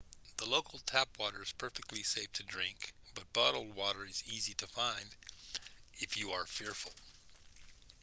the local tap water is perfectly safe to drink but bottled water is easy to find if you are fearful